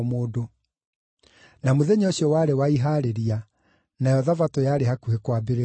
Na mũthenya ũcio warĩ wa Ihaarĩria, nayo Thabatũ yarĩ hakuhĩ kwambĩrĩria.